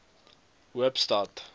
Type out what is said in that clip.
hoopstad